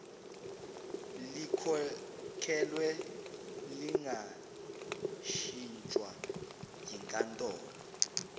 likhokhelwe lingashintshwa yinkantolo